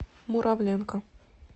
муравленко